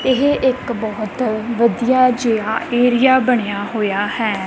ਇਹ ਇੱਕ ਬਹੁਤ ਵਧੀਆ ਜਿਹਾ ਏਰੀਆ ਬਣਿਆ ਹੋਇਆ ਹੈ।